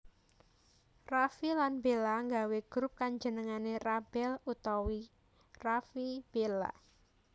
Raffi lan Bella nggawé grup kang jenengé RaBel utawa Raffi/Bella